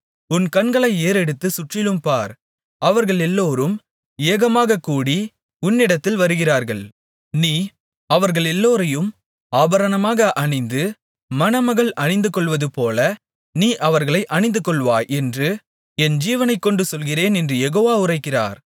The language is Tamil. உன் கண்களை ஏறெடுத்துச் சுற்றிலும் பார் அவர்களெல்லோரும் ஏகமாகக்கூடி உன்னிடத்தில் வருகிறார்கள் நீ அவர்களெல்லோரையும் ஆபரணமாக அணிந்து மணமகள் அணிந்துகொள்வதுபோல நீ அவர்களை அணிந்துகொள்வாய் என்று என் ஜீவனைக்கொண்டு சொல்கிறேன் என்று யெகோவா உரைக்கிறார்